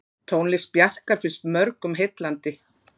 Tónlist Bjarkar finnst mörgum heillandi.